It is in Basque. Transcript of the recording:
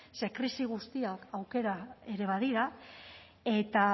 ze krisi guztiak aukera ere badira eta